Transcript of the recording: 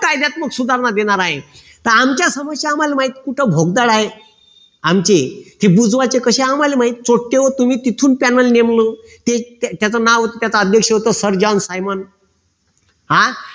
कायद्यात्मक सुधारणा देणार आहेत तर आमच्या समक्ष आम्हाला माहित कुठे भोगदाळ आहे आमचे ते बुजवायचे कशे ते आम्हाला माहित पोट्टेहो तुम्ही तिथून त्यांना नेमलं त्याच नाव होत त्याच अध्यक्ष होत सर जॉन सायमंड हा